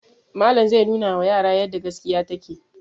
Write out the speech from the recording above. Malam zai nunawa yara yadda gaskiya take.